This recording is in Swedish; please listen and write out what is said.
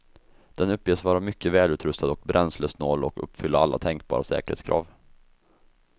Den uppges vara mycket välutrustad och bränslesnål och uppfylla alla tänkbara säkerhetskrav.